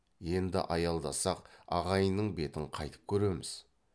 енді аялдасақ ағайынның бетін қайтіп көреміз